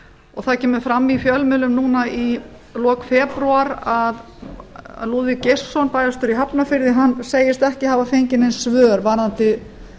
og það kemur fram í fjölmiðlum núna í lok febrúar að lúðvík geirsson bæjarstjóri í hafnarfirði segist ekki hafa fengið nein svör varðandi